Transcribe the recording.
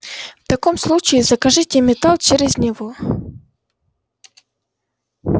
в таком случае закажите металл через него